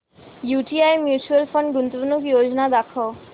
UTI mutual fund गुंतवणूक योजना दाखव